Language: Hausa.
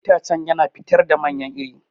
Itacen yana fitar da manyan iri.